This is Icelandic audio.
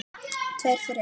Tveir fyrir einn.